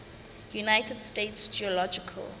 united states geological